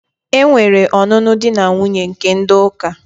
Enwere ọnụnụ di na nwuńye nke ndi uka.